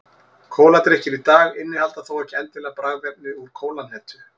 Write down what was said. kóladrykkir í dag innihalda þó ekki endilega bragðefni úr kólahnetu